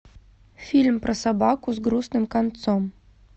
фильм про собаку с грустным концом